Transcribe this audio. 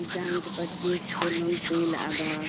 इशन ओन्टे पचगिस पेलोन सुई लआदस--